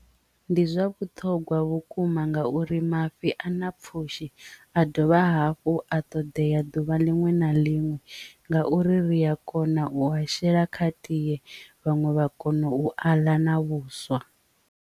Ndi zwa vhuṱhogwa vhukuma ngauri mafhi a na pfhushi a dovha hafhu a ṱoḓea ḓuvha liṅwe na liṅwe ngauri ri a kona u a shela kha tie vhaṅwe vha kono u aḽa na vhuswa.